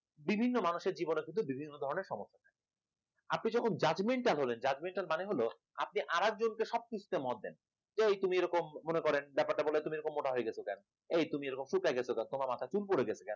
বিভিন্ন মানুষের জীবনে কিন্তু বিভিন্ন ধরনের সমস্যা আপনি যখন জাজমেন্টাল হলেন judgemental মানে হল আপনি আর একজনকে সব কিছুতে মত দেন এই তুমি এরকম মনে করেন ব্যাপারটা বলে তুমি এরকম মনে হয়ে গেছো কেন? এই তুমি এরকম কুচকায় গেছো কেন? তোমার মাথার চুল পড়ে গেছে কেন?